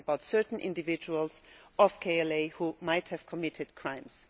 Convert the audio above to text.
it is about certain individuals of KLA who might have committed crimes.